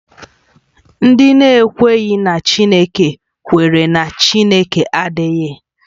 Ndị na-ekweghị na Chineke kwere na Chineke adịghị